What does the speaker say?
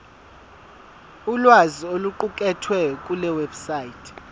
ulwazi oluqukethwe kulewebsite